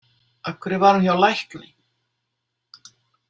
Af hverju var hún hjá lækni?